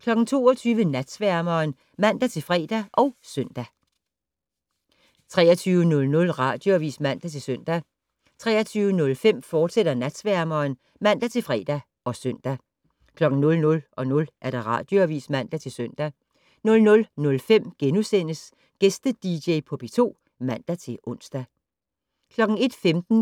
22:00: Natsværmeren (man-fre og søn) 23:00: Radioavis (man-søn) 23:05: Natsværmeren, fortsat (man-fre og søn) 00:00: Radioavis (man-søn) 00:05: Gæste-dj på P2 *(man-ons) 01:15: